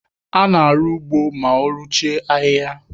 A na-arụ ugbo mao ruchie ahịhịa.